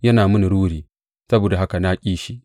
Yana mini ruri; saboda haka na ƙi shi.